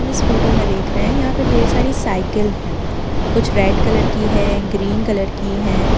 हम इस फोटो में देख रहे है यहा पर ढ़ेर सारी साइकिल है कुछ रेड कलर की है ग्रीन कलर की है ।